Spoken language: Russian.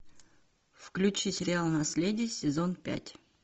включи сериал наследие сезон пять